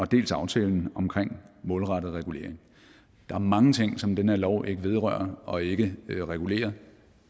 dels aftalen omkring målrettet regulering der er mange ting som den her lov ikke vedrører og ikke regulerer